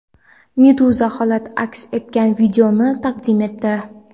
Meduza holat aks etgan videoni taqdim etdi .